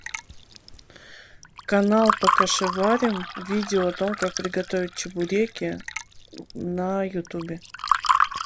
канал покашеварим видео о том как приготовить чебуреки на ютубе